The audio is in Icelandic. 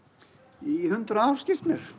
í hundrað ár skilst mér